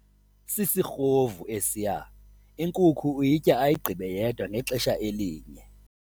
Sisirhovu esiya inkuku uyitya ayigqibe yedwa ngexesha elinye.